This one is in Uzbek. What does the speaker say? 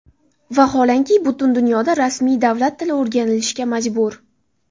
Vaholanki, butun dunyoda rasmiy davlat tili o‘rganilishga majbur!